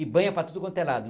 E banha para tudo quanto é lado.